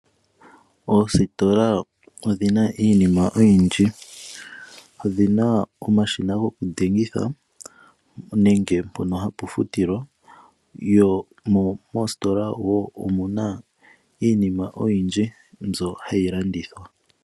Oositola odhina iinima oyindji odhina omashina gokudhengitha nenge mpono hapafutilwa. Moostola wo omuna iinima oyindji mbyoka hayi landithwa.